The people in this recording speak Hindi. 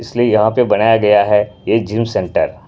इसलिए यहाँ पे बनाया गया है ये जिम सेंटर --